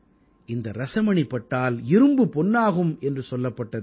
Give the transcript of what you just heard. இந்த ரஸமணி பட்டால் இரும்பு பொன்னாகும் என்று சொல்லப்பட்டது